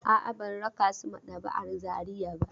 A'a, ban raka su maɗaba'a r Zariya ba.